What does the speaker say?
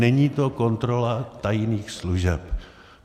Není to kontrola tajných služeb.